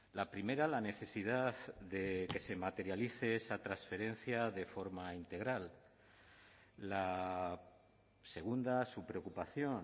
la primera la necesidad de que se materialice esa transferencia de forma integral la segunda su preocupación